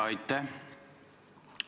Aitäh!